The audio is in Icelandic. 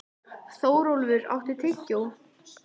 Þórólfur, áttu tyggjó?